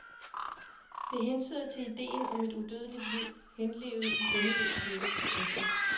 Det hentyder til idéen om et udødeligt liv henlevet i endeløs lykke. punktum